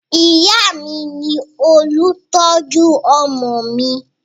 Ìyá mi ni olùtọ́jú ọmọ mi